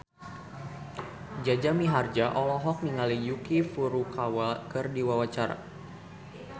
Jaja Mihardja olohok ningali Yuki Furukawa keur diwawancara